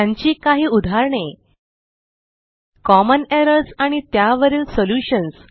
त्यांची काही उदाहरणे कॉमन एरर्स आणि त्यावरील सॉल्युशन्स